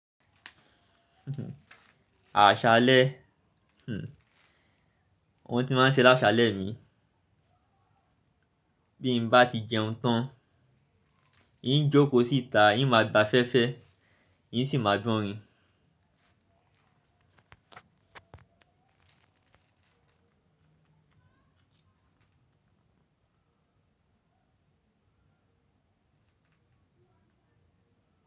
Àṣálẹ́, wọn tí máa ń ṣe lásálẹ́ mi. Bí n bá ti jẹun tán, ìn jókòó síta, ìn máa gba afẹfẹ, ìn sì máa gbọ̀nrin.